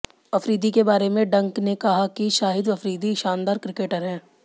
अफरीदी के बारे में डंक ने कहा कि शाहिद अफरीदी शानदार क्रिकेटर हैं